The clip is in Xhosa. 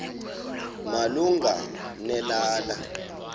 malunga ne lala